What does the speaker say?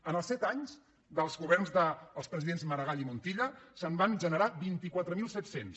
en els set anys dels governs dels presidents maragall i montilla se’n van generar vint quatre mil set cents